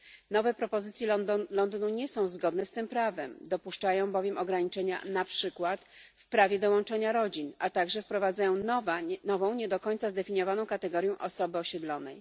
Nowe propozycje Londynu nie są zgodne z tym prawem, dopuszczają bowiem ograniczenia na przykład w prawie do łączenia rodzin, a także wprowadzają nową nie do końca zdefiniowaną kategorię osoby osiedlonej.